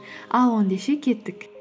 ал кеттік